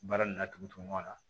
Baara nin laturu kɔnɔ